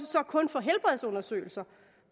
så kun for helbredsundersøgelser